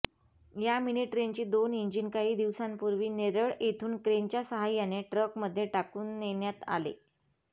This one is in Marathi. या मिनी ट्रेनची दोन इंजिन काही दिवसांपूर्वी नेरळ येथून क्रेनच्या सहाय्याने ट्रकमध्ये टाकून नेण्यात आले